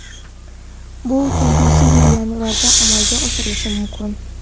Bu kelgusi yil yanvarida amalga oshirilishi mumkin.